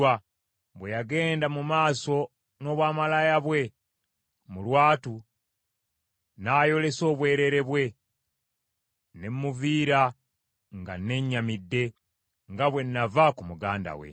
Bwe yagenda mu maaso n’obwamalaaya bwe mu lwatu, n’ayolesa obwereere bwe, ne mmuviira nga nennyamidde, nga bwe nnava ku muganda we.